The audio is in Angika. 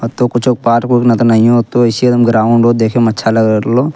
अ तो कुछो पार्क उर्क न त नहिये होतो अईसही एकदम ग्राउंड हो देखे में अच्छा लग रहलो।